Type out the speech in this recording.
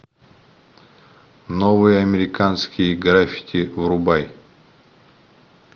новые американские граффити врубай